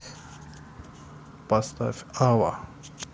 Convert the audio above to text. поставь ава